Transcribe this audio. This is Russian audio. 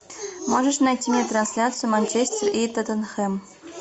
можешь найти мне трансляцию манчестер и тоттенхэм